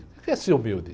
O que é ser humilde?